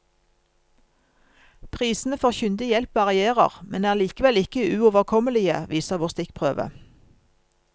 Prisene for kyndig hjelp varierer, men er likevel ikke uoverkommelige, viser vår stikkprøve.